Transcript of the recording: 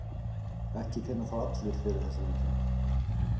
Ekki finna þó allir fyrir þessum einkennum.